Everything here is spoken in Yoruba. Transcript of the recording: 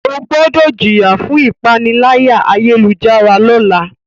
O gbọdọ jiya fun ipanilaya-ayelujara lọla!